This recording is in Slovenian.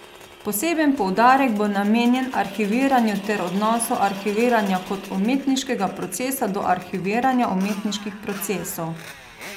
Poseben poudarek bo namenjen arhiviranju ter odnosu arhiviranja kot umetniškega procesa do arhiviranja umetniških procesov.